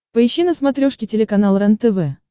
поищи на смотрешке телеканал рентв